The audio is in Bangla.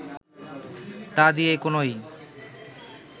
তা দিয়ে কোনই